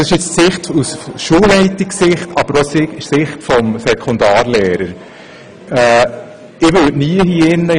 Als Lehrer würde ich hier im Grossen Rat nie meinen eigenen Lohn zu steuern versuchen.